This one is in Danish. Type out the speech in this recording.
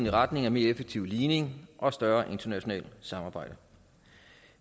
i retning af en mere effektiv ligning og større internationalt samarbejde